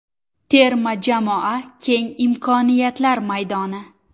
Terma jamoa keng imkoniyatlar maydoni.